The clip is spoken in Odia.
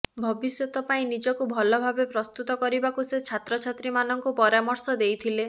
ଭବିଷ୍ୟତ ପାଇଁ ନିଜକୁ ଭଲ ଭାବେ ପ୍ରସ୍ତୁତ କରିବାକୁ ସେ ଛାତ୍ରଛାତ୍ରୀମାନଙ୍କୁ ପରାମର୍ଶ ଦେଇଥିଲେ